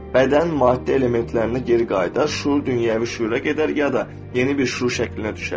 Bədən maddi elementlərinə geri qayıdar, şüur dünyəvi şüura gedər, ya da yeni bir şüur şəklinə düşər.